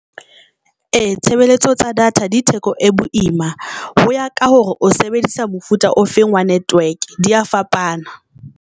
Eya, tshebeletso tsa data di theko e boima ho ya ka hore o sebedisa mofuta o feng wa network di ya fapana.